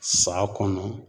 San kɔnɔ